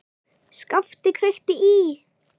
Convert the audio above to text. SKAPTI KVEIKTI Í